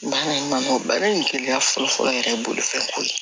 Baara in man nɔgɔ baara in gɛlɛya fɔlɔ fɔlɔ yɛrɛ bolofɛnko ye